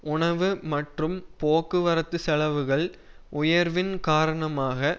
உணவு மற்றும் போக்குவரத்து செலவுகள் உயர்வின் காரணமாக